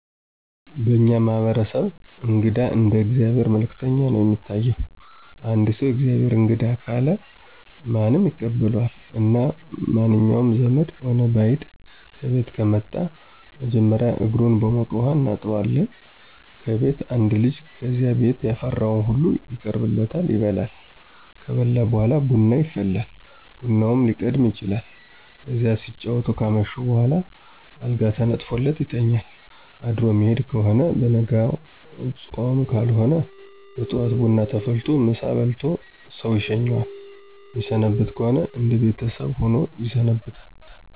በእኛ ማህበረሰብ እንግዳ እንደ የእግዚአብሔር መልእክተኛ ነው የሚታይ። አንድ ሰው። “ የእግዚአብሔር እንግዳ“ ካለ ማንም ይቀበለዋል እና መንኛውም ዘመድም ሆነ በይድ ከቤት ከመጣ መጀመሪያ እግሩን በሞቀ ውሀ እናጥበዋለን ከቤት አንድ ልጅ ከዚያ ቤት ያፈራው ሁሉ ይቀርብለታል ይበላል። ከበላ በኋላ ቡና ይፈላል ቡናውም ሊቀድም ይችላል። ከዚያ ሲጫወቱ ካመሹ በኋላ አልጋ ተነጥፎለት ይተኛል አድሮ ሚሄድ ከሆነ በነጋው ጾም ካልሆነ በጠዋት ቡና ተፈልቶለት ምሳ በልቶ ሰው ይሸኘዋል። ሚሰነብት ከሆነ እነደ ቤተሰብ ሆኖ ይሰነብታል።